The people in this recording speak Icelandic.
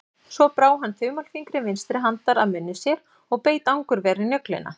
Svo brá hann þumalfingri vinstri handar að munni sér og beit angurvær í nöglina.